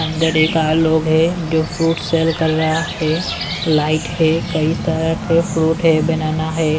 अंदर एक आत लोग हैं जो फ्रूट सेल कर रहा है लाइट है कई तरह के फ्रूट है बनाना है।